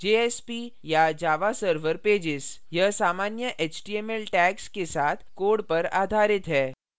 jsp या java server pages: यह सामान्य html tags के साथ code पर आधारित है